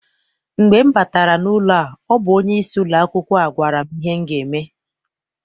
Mgbe m batara n'ụlọ a ọ bụ onyeisi ụlọakwụkwọ a gwara m ihe m ga eme.